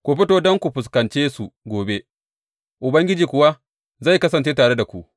Ku fito don ku fuskance su gobe, Ubangiji kuwa zai kasance tare ku.’